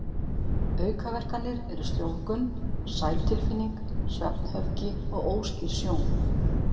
Aukaverkanir eru sljóvgun, sælutilfinning, svefnhöfgi og óskýr sjón.